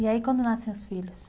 E aí, quando nascem os filhos?